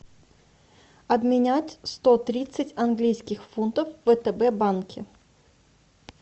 обменять сто тридцать английских фунтов в втб банке